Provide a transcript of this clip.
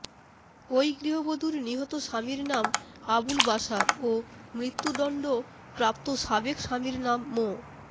ওই গৃহবধূর নিহত স্বামীর নাম আবুল বাশার ও মৃত্যুদণ্ড প্রাপ্ত সাবেক স্বামীর নাম মো